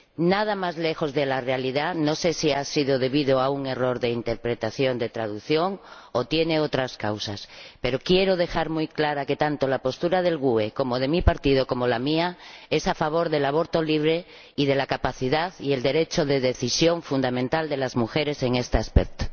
Nada más lejos de la realidad. No sé si se ha debido a un error de interpretación de traducción o tiene otras causas, pero quiero dejar muy claro que tanto la postura del Grupo GUE NGL como la de mi partido o la mía propia son a favor del aborto libre y de la capacidad y el derecho de decisión fundamental de las mujeres en este aspecto.